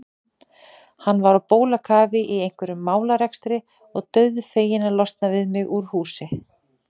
Hann var á bólakafi í einhverjum málarekstri og dauðfeginn að losna við mig úr húsinu.